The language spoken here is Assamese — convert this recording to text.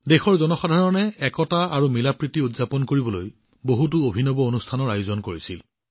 দেশৰ জনসাধাৰণে একতা আৰু সম্প্ৰীতি উদযাপনৰ বাবে বহুতো আশ্চৰ্যকৰ অনুষ্ঠানৰ আয়োজন কৰিছে